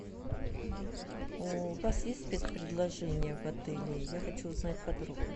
у вас есть спецпредложения в отеле я хочу узнать подробно